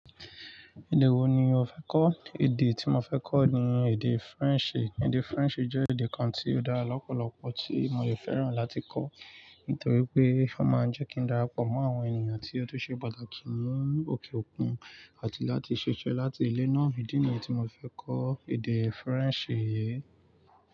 Èdè wo ni o fẹ́ kọ́? Èdè tí mo fẹ́ kọ́ ni èdè Faransé. Èdè Faransé jẹ́ èdè kan tí ó dára lọ́pọ̀lọpọ̀ tí mo si fẹ́ràn láti kọ́, nítorí pé ó máa ń jẹ́ kí n darapọ̀ mọ́ àwọn ènìyàn tí ó dúró ṣe pàtàkì ní òkè òkun àti láti ṣiṣẹ́ láti ilẹ̀ náà. Ìdí ni yen tí mo fẹ́ kọ́ èdè Faransé yìí.